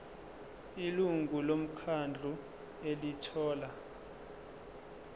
ilungu lomkhandlu elithola